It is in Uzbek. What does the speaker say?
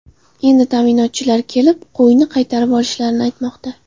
Endi ta’minotchilar kelib, qo‘yni qaytirib olishlarini aytmoqda.